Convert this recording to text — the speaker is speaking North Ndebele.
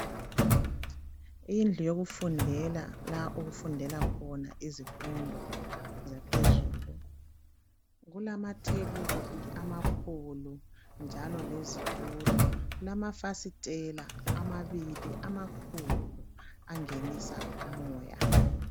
Indlu yokufundela la okufundelwa khona izifundo zaphezulu. Kulamathebuli amakhulu njalo lezithulo, kulamafasitela amabili amakhulu angenisa umoya.